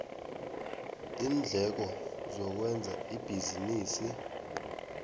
iindleko zokwenza ibhizinisi